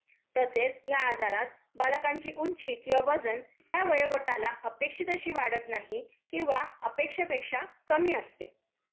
तसेच या आजारात बालकांची ऊंची किंवा किंवा वजन त्या वयोगटाला अपेक्षित अशी वाढत नाही किंवा अपेक्षेपेक्षा कमी असते.